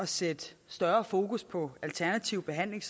sætte større fokus på alternativ behandling